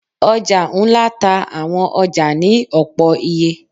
oja ńlá ta awọn ọja ni opọ-iye